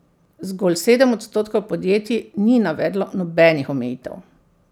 Zgolj sedem odstotkov podjetij ni navedlo nobenih omejitev.